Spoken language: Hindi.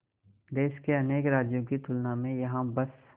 देश के अनेक राज्यों की तुलना में यहाँ बस